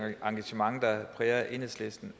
engagement der præger enhedslisten